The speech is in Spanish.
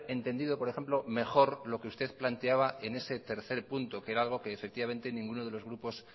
entendido por ejemplo mejor lo que usted planteaba en ese tercer punto que efectivamente ninguno de los grupos